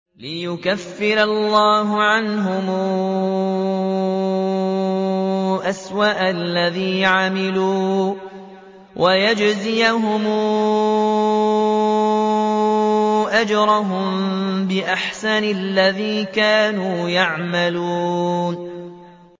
لِيُكَفِّرَ اللَّهُ عَنْهُمْ أَسْوَأَ الَّذِي عَمِلُوا وَيَجْزِيَهُمْ أَجْرَهُم بِأَحْسَنِ الَّذِي كَانُوا يَعْمَلُونَ